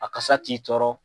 A kasa t'i tɔɔrɔ.